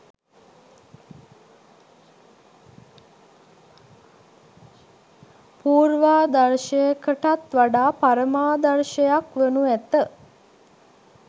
පූර්වාදර්ශයකටත් වඩා පරමාදර්ශයක් වනු ඇත